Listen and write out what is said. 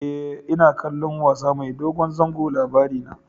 E, ina kallon wasa mai dogon zango Labarina.